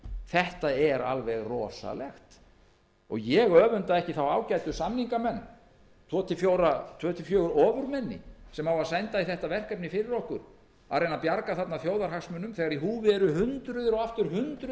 þetta er alveg rosalegt ég öfunda ekki þá ágætu samningamenn tvö til fjögur ofurmenni sem senda á í það verkefni fyrir okkur að reyna að bjarga þarna þjóðarhagsmunum þegar í húfi eru hundruð og aftur hundruð